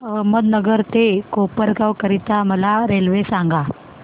अहमदनगर ते कोपरगाव करीता मला रेल्वे सांगा